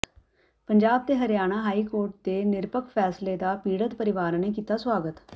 ਪੰਜਾਬ ਤੇ Haryana high court ਦੇ ਨਿਰਪੱਖ ਫ਼ੈਸਲੇ ਦਾ ਪੀੜਤ ਪਰਵਾਰਾਂ ਨੇ ਕੀਤਾ ਸੁਆਗਤ